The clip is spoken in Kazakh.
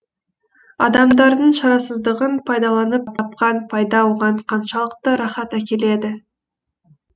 адамдардың шарасыздығын пайдаланып тапқан пайда оған қаншалықты рахат әкеледі